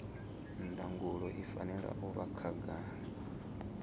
ndangulo i fanela u vha khagala